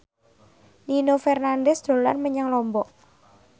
Nino Fernandez dolan menyang Lombok